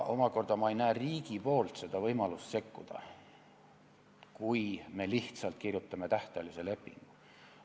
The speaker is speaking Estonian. Omakorda ei näe ma riigi võimalust sekkuda, kui me lihtsalt kirjutame sisse tähtajalise lepingu.